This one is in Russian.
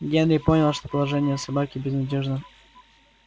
генри понял что положение собаки безнадёжно